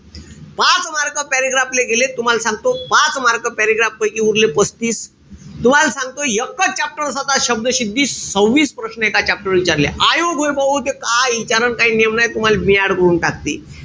पाच mark paragraph ले गेले. तुम्हाल सांगतो. पाच mark paragraph पैकी उरले पस्तीस. तुम्हाल सांगतो एकच chapter होता शब्दसिद्धी. सव्हिस प्रश्न एका chapter वर विचारले. आयोग रे भाऊ ते काय विचारनं काई नेम नाई. तुम्हाले mad करून टाकते.